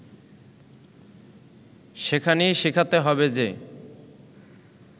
সেখানেই শেখাতে হবে যে